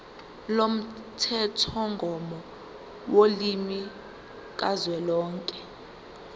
lomthethomgomo wolimi kazwelonke